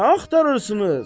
Nə axtarırsınız?